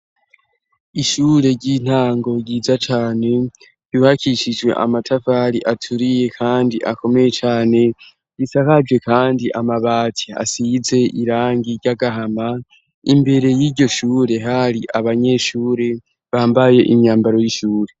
Ishure ry'intango ryiza cane buhakishijwe amatavali aturiye, kandi akomeye cane risakajwe, kandi amabati asize irangi ry'agahama imbere y'iryo shure hari abanyeshure bambaye imyambaro y'ishure.